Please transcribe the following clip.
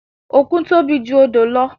Òkun tóbi ju odò lọ